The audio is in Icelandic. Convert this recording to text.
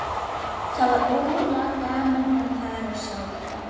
Það var ógurlega gaman að fara og sjá þetta.